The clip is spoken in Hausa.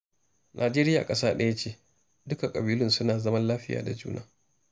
Najeriya ƙasa ɗaya ce, dukka ƙabilu suna zaman lafiya da juna